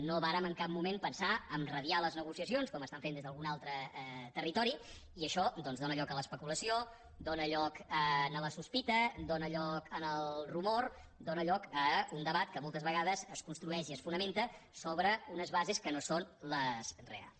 no vàrem en cap moment pensar a radiar les negociacions com fan des d’algun altre territori i això dóna lloc a l’especulació dóna lloc a la sospita dóna lloc al rumor dóna lloc a un debat que moltes vegades es construeix i es fonamenta sobre unes bases que no són les reals